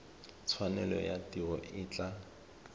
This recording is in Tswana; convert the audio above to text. tshwanelo ya tiro e tla